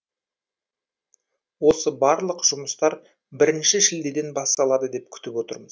осы барлық жұмыстар бірінші шілдеден басталады деп күтіп отырмыз